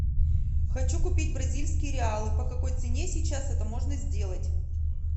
хочу купить бразильские реалы по какой цене сейчас это можно сделать